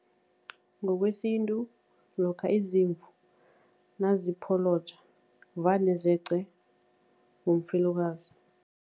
Ngokwesintu, lokha izimvu nazipholoja vane zeqe ngumfelokazi.